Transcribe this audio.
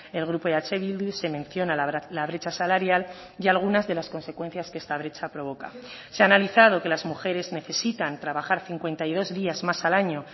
el grupo eh bildu se menciona la brecha salarial y algunas de las consecuencias que esta brecha provoca se ha analizado que las mujeres necesitan trabajar cincuenta y dos días más al año